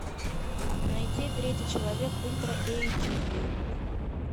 найти третий человек ультра эйч ди